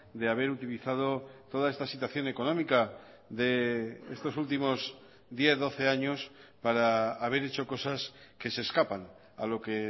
de haber utilizado toda esta situación económica de estos últimos diez doce años para haber hecho cosas que se escapan a lo que